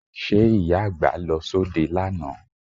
Ṣe Ìyá àgbà lọ sóde lánàá?